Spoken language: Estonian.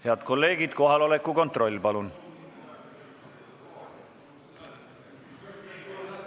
Head kolleegid, kohaloleku kontroll, palun!